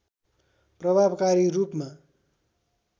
प्रभावकारी रूपमा